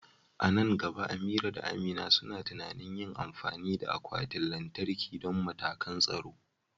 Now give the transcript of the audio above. A nan gaba, Amira da Amina suna tunanin yin amfani da akwatin lantarki don matakan tsaro.